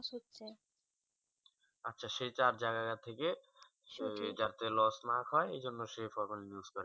আচ্ছা সে থেকে যাতে লস না খাই এই জন্য সে formalin use করে